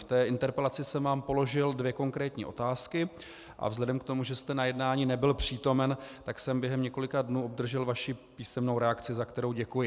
V té interpelaci jsem vám položil dvě konkrétní otázky a vzhledem k tomu, že jste na jednání nebyl přítomen, tak jsem během několika dnů obdržel vaši písemnou reakci, za kterou děkuji.